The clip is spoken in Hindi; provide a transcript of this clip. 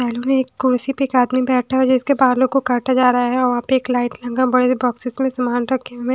एक कुर्सी पर एक आदमी बैठा है जिसके बालों को काटा जा रहा है और वहाँ पे एक लाइट रंगा बड़े बॉक्सेस में सामान रखे हैं।